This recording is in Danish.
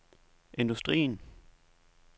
industrien